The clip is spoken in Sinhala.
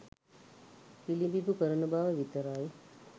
පිළිඹිඹු කරන බව විතරයි.